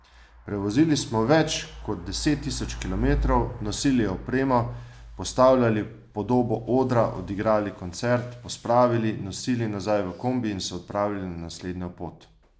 Prevozili smo več kot deset tisoč kilometrov, nosili opremo, postavljali podobo odra, odigrali koncert, pospravili, nosili nazaj v kombi in se odpravili na naslednjo pot.